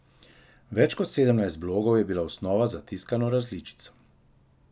Več kot sedemdeset blogov je bila osnova za tiskano različico.